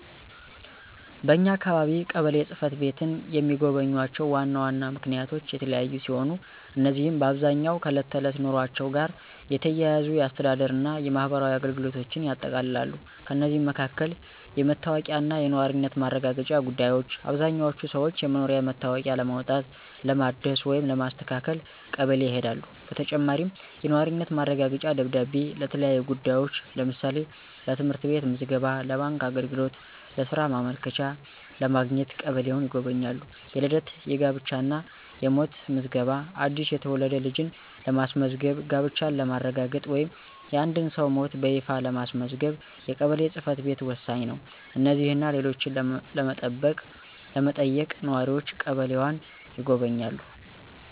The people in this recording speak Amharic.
በኛ አካባቢ ቀበሌ ጽ/ቤትን የሚጎበኙባቸው ዋና ዋና ምክንያቶች የተለያዩ ሲሆኑ፣ እነዚህም በአብዛኛው ከዕለት ተዕለት ኑሯቸው ጋር የተያያዙ የአስተዳደር እና የማህበራዊ አገልግሎቶችን ያጠቃልላሉ። ከእነዚህም መካከል: * የመታወቂያ እና የነዋሪነት ማረጋገጫ ጉዳዮች: አብዛኛዎቹ ሰዎች የመኖሪያ መታወቂያ ለማውጣት፣ ለማደስ ወይም ለማስተካከል ቀበሌ ይሄዳሉ። በተጨማሪም፣ የነዋሪነት ማረጋገጫ ደብዳቤ ለተለያዩ ጉዳዮች (ለምሳሌ: ለትምህርት ቤት ምዝገባ፣ ለባንክ አገልግሎት፣ ለሥራ ማመልከቻ) ለማግኘት ቀበሌን ይጎበኛሉ። * የልደት፣ የጋብቻ እና የሞት ምዝገባ: አዲስ የተወለደ ልጅን ለማስመዝገብ፣ ጋብቻን ለማረጋገጥ ወይም የአንድን ሰው ሞት በይፋ ለማስመዝገብ የቀበሌ ጽ/ቤት ወሳኝ ነው። እነዚህንና ሌሎችን ለመጠየቅ ነዋሪዎች ቀበሌን ይጎበኛሉ።